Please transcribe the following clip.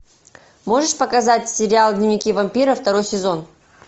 можешь показать сериал дневники вампира второй сезон